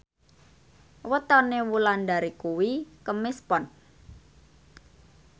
wetone Wulandari kuwi Kemis Pon